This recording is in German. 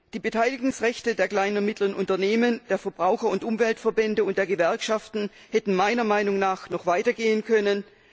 Die Beteiligungsrechte der kleinen und mittleren Unternehmen, der Verbraucher und Umweltverbände und der Gewerkschaften hätten meiner Meinung nach noch weiter gehen können.